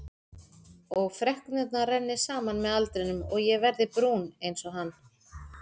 Og freknurnar renni saman með aldrinum og ég verði brún einsog hann.